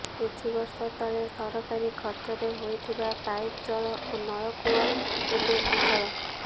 କିଛି ବର୍ଷ ତଳେ ସରକାରୀ ଖର୍ଚ୍ଚରେ ହୋଇଥିବା ପାଇପ ଜଳ ଓ ନଳକୂଅ ଏବେ ଅଚଳ